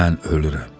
Mən ölürəm.